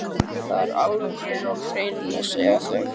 Það er alveg á hreinu, segja þau.